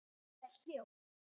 Það er hljótt.